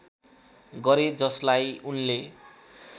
गरे जसलाई उनले